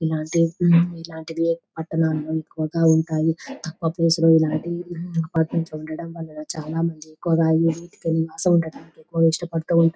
ఇలాంటిఇలాంటివి పట్టణాల్లో ఎక్కువుగా ఉంటాయి. తక్కువ ప్లేస్ లో ఇలాంటి అపార్ట్మెంట్స్ ఉండడం వల్ల చాలా మంది ఎక్కువుగా ఎక్కువ ఇష్టపడుతూ ఉంటా--